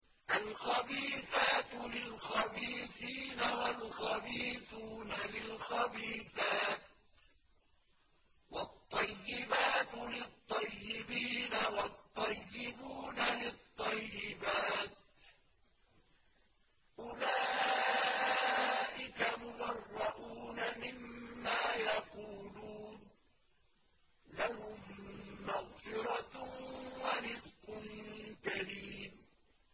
الْخَبِيثَاتُ لِلْخَبِيثِينَ وَالْخَبِيثُونَ لِلْخَبِيثَاتِ ۖ وَالطَّيِّبَاتُ لِلطَّيِّبِينَ وَالطَّيِّبُونَ لِلطَّيِّبَاتِ ۚ أُولَٰئِكَ مُبَرَّءُونَ مِمَّا يَقُولُونَ ۖ لَهُم مَّغْفِرَةٌ وَرِزْقٌ كَرِيمٌ